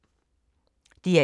DR1